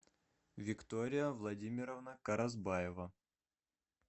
виктория владимировна каразбаева